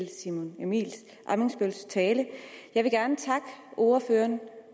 simon emil ammitzbølls tale jeg vil gerne takke ordføreren